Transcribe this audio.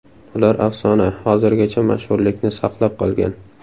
Ular afsona, hozirgacha mashhurlikni saqlab qolgan.